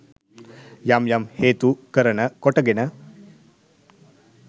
යම් යම් හේතු කරන කොටගෙන